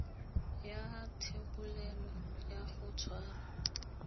ya thebolelo ya go tshwara